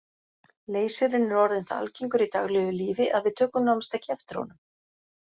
Leysirinn er orðinn það algengur í daglegu lífi að við tökum nánast ekki eftir honum.